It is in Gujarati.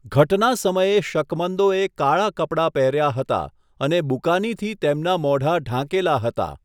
ઘટના સમયે શકમંદોએ કાળા કપડા પહેર્યા હતા અને બુકાનીથી તેમના મોઢા ઢાંકેલા હતા.